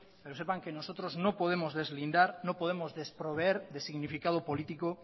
pero sepan que nosotros no podemos deslindar no podemos desproveer de significado político